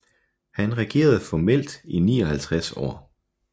Han regerede formelt i 59 år